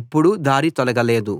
ఎప్పుడూ దారి తొలగ లేదు